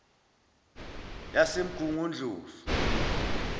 yasemgungundlovu